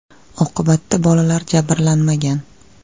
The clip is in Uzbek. Oqibatda bolalar jabrlanmagan.